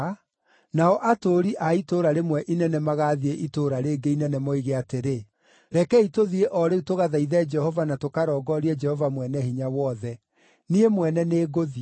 nao atũũri a itũũra rĩmwe inene magaathiĩ itũũra rĩngĩ inene moige atĩrĩ, ‘Rekei tũthiĩ o rĩu tũgathaithe Jehova na tũkarongoorie Jehova Mwene-Hinya-Wothe. Niĩ mwene nĩngũthiĩ.’